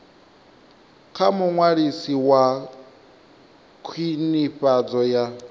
kha muṅwalisi wa khwinifhadzo ya